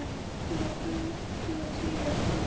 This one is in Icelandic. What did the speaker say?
Hún var til í að koma með.